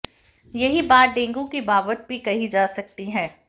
यही बात डेंगू की बाबत भी कही जा सकती है